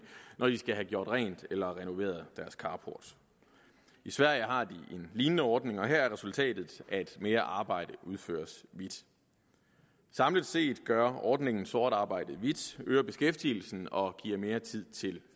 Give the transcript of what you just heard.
når de skal have gjort rent eller renoveret deres carport i sverige har de en lignende ordning og her er resultatet at mere arbejde udføres hvidt samlet set gør ordningen sort arbejde hvidt øger beskæftigelsen og giver mere tid til